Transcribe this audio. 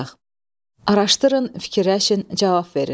Araşdırın, fikirləşin, cavab verin.